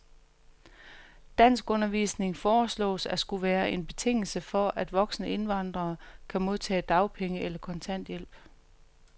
Danskundervisning foreslås at skulle være en betingelse for, at voksne indvandrere kan modtage dagpenge eller kontanthjælp.